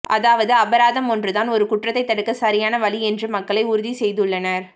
அதாவது அபராதம் ஒன்றுதான் ஒரு குற்றத்தை தடுக்க சரியான வழி என்று மக்களை உறுதி செய்துள்ளனர்